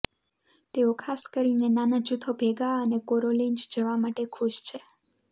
તેઓ ખાસ કરીને નાના જૂથો ભેગા અને કેરોલિન્જ જવા માટે ખુશ છે